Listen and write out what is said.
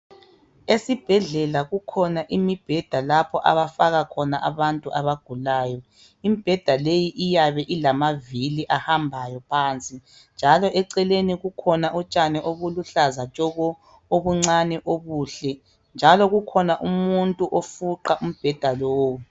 Esibhedlela kukhona imibheda lapho abafaka khona abantu abagulayo. Imibheda leyi iyabe ilamavili ahambayo phansi njalo eceleni kukhona utshani obuluhlaza tshoko obuncane obuhle njalo kukhona umuntu ofuqa umbheda lowo.